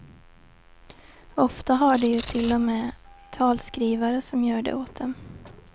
Ofta har de ju till och med talskrivare som gör det åt dem.